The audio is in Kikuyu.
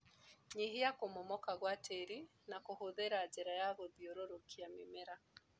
Nyihia kũmomoka gwa tĩri na kũhũthĩra njĩra ya gũthiũrurukia mĩmera.